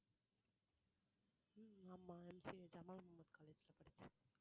உம் ஆமா MCA college ல படிச்சேன்